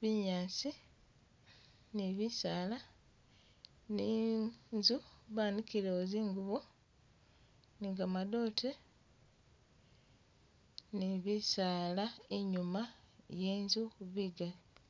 binyasi ni bisaala, ni inzu banikilewo zingubo ni gamadote ni bisaala inyuma yenzu bigali